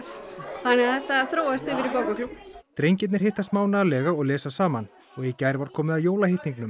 þannig að þetta þróaðist yfir í bókaklúbb drengirnir hittast mánaðarlega og lesa saman og í gær var komið að